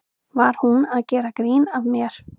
Var hún að gera grín að mér?